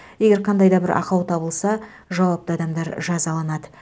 егер қандай да бір ақау табылса жауапты адамдар жазаланады